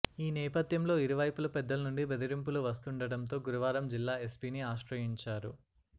ఈ నేపథ్యంలో ఇరువైపుల పెద్దల నుండి బెదిరింపులు వస్తుండటంతో గురువారం జిల్లా ఎస్పీని ఆశ్రయించారు